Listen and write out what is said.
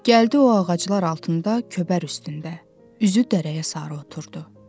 Gəldi o ağaclar altında köbər üstündə, üzü dərəyə sarı oturdu.